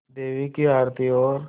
देवी की आरती और